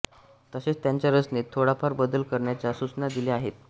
तसेच त्यांच्या रचनेत थोडाफार बदल करण्याच्या सूचना दिल्या आहेत